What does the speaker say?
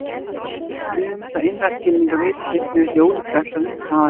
Ef við höfum þetta innra skilningarvit, finnst mér ekki ólíklegt að hundar hafi það líka.